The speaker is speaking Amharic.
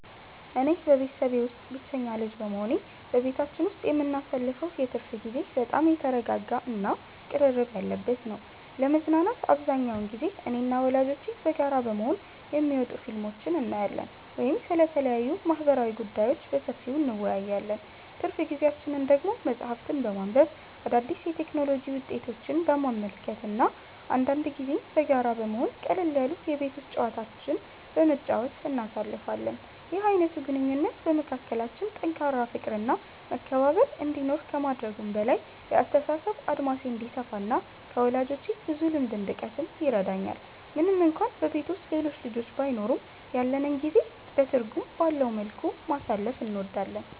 እኔ በቤተሰቤ ውስጥ ብቸኛ ልጅ በመሆኔ፣ በቤታችን ውስጥ የምናሳልፈው የትርፍ ጊዜ በጣም የተረጋጋ እና ቅርርብ ያለበት ነው። ለመዝናናት አብዛኛውን ጊዜ እኔና ወላጆቼ በጋራ በመሆን የሚወጡ ፊልሞችን እናያለን ወይም ስለተለያዩ ማህበራዊ ጉዳዮች በሰፊው እንወያያለን። ትርፍ ጊዜያችንን ደግሞ መጽሐፍትን በማንበብ፣ አዳዲስ የቴክኖሎጂ ውጤቶችን በመመልከት እና አንዳንድ ጊዜም በጋራ በመሆን ቀለል ያሉ የቤት ውስጥ ጨዋታዎችን በመጫወት እናሳልፋለን። ይህ አይነቱ ግንኙነት በመካከላችን ጠንካራ ፍቅር እና መከባበር እንዲኖር ከማድረጉም በላይ፣ የአስተሳሰብ አድማሴ እንዲሰፋ እና ከወላጆቼ ብዙ ልምድ እንድቀስም ይረዳኛል። ምንም እንኳን በቤት ውስጥ ሌሎች ልጆች ባይኖሩም፣ ያለንን ጊዜ በትርጉም ባለው መልኩ ማሳለፍ እንወዳለን።